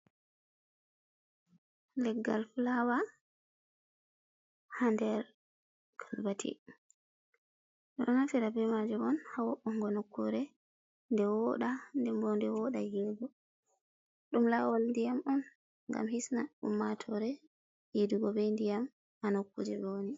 Leggal fulawa ha nder kolbeti ɗo naftira be majum on ha wo'uungo nokkure nde woɗa dembo nde woɗa yiigo ɗum lawol ndiyam on ngam hisna ummatore yiidugo be ndiyam ha nokkuje ɓe woni.